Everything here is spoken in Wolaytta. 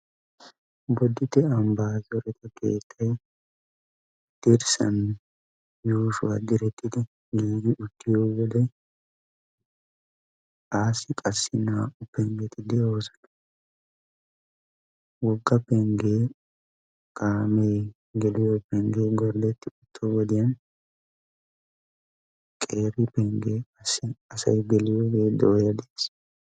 Boditte ambba xifete keettay dirssan yuushshuwa direttidi giigi uttiyo wodw assi qassi naa''u penggeti de'oosona. Wogga pengge kaame geliyo pengge gorddeti uttiyo wodiyaan qeera pengge asay geliyooge dooya des.